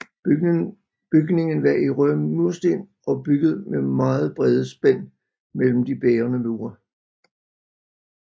Bygningen var i røde mursten og bygget med meget brede spænd mellem de bærende mure